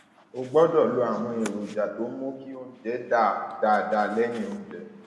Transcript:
o gbọdọ lo àwọn èròjà tó ń mú kí oúnjẹ dà dáadáa lẹyìn oúnjẹ